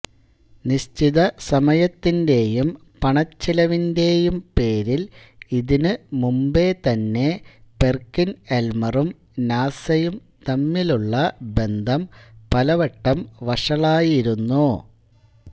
നിശ്ചിത സമയത്തിന്റേയും പണച്ചിലവിന്റേയും പേരിൽ ഇതിനു മുമ്പേതന്നെ പെർകിൻഎൽമറും നാസയും തമ്മിലുള്ള ബന്ധം പലവട്ടം വഷളായിരുന്നു